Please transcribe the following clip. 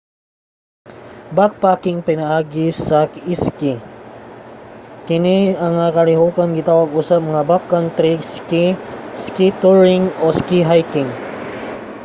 backpacking pinaagi sa iski: kini nga kalihokan gitawag usab nga backcountry ski ski touring o ski hiking